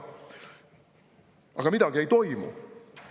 Aga midagi ei toimu.